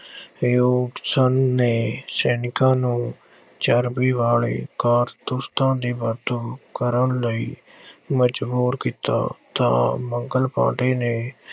Hugeson ਨੇ ਸੈਨਿਕਾਂ ਨੂੰ ਚਰਬੀ ਵਾਲੇ ਕਾਰਤੂਸਾਂ ਦੀ ਵਰਤੋਂ ਕਰਨ ਲਈ ਮਜ਼ਬੂਰ ਕੀਤਾ ਤਾਂ ਮੰਗਲ ਪਾਂਡੇ ਨੇ